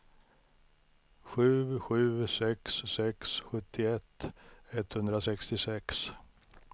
sju sju sex sex sjuttioett etthundrasextiosex